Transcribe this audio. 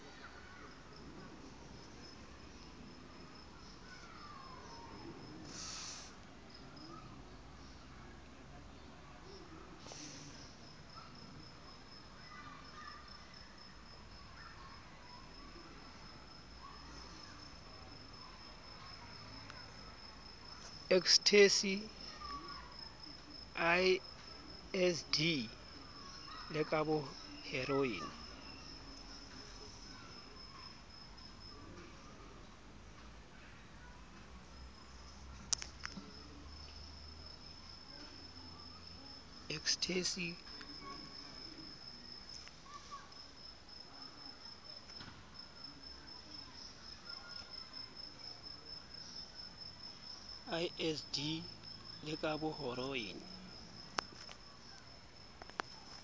ecstasy lsd le ka boheroin